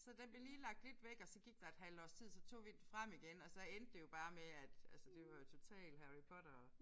Så den blev lige lagt lidt væk og så gik der et halvt års tid så tog vi den frem igen og så endte det jo bare med at altså det var jo totalt Harry Potter